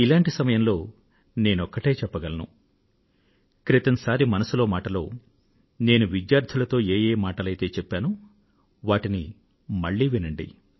ఇటువంటి సమయంలో నేనొక్కటే చెప్పగలను క్రితం సారి మనసులో మాట లో నేను విద్యార్థులతో ఏ ఏమాటలైతే చెప్పానో వాటిని మళ్ళీ వినండి